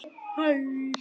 Hann nýr.